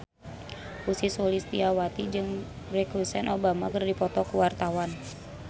Ussy Sulistyawati jeung Barack Hussein Obama keur dipoto ku wartawan